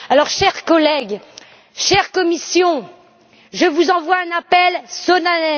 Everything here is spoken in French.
Alors, chers collègues, chère Commission, je vous envoie un appel solennel.